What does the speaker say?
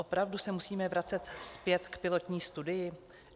Opravdu se musíme vracet zpět k pilotní studii?